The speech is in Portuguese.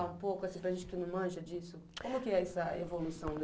Falar um pouco, assim para gente que não manja disso, como que é essa evolução da